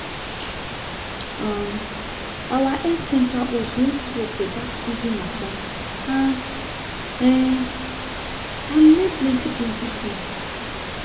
um our health center host one talk about feeding matter and um i learn plenty plenty things